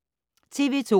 TV 2